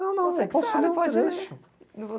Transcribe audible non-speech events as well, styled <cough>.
<crosstalk> Não, não, eu posso ler um trecho.